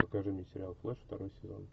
покажи мне сериал флэш второй сезон